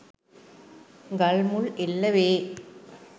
ගල් මුල් එල්ල වේ